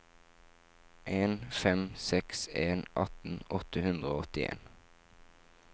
en fem seks en atten åtte hundre og åttien